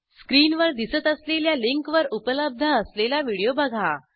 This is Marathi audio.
स्क्रीनवर दिसत असलेल्या लिंकवर उपलब्ध असलेला व्हिडिओ बघा